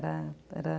Era era legal.